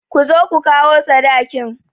Ku zo ku kawo sadakin!